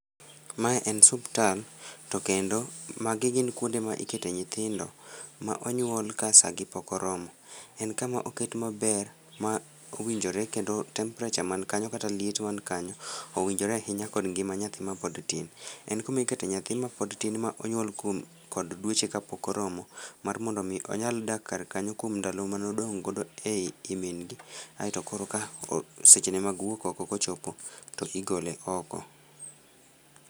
Mae en suptal to kendo magi gin kuonde ma ikete nyithindo ma onyuol ka saa gi pok oromo. En kama oket maber ma owinjore kendo temperature man kanyo kata liet man kanyo owinjore ahinya kod ngima nyathi mapod tin. En kuma ikete nyathi mapod tin ma onyuol kuom, kod dweche kapok oromo mar mondo mi onyal dak kar kanyo kuom ndalo mane odong godo ei min gi aito koro ka seche ne mag wuok oko kochopo to igole oko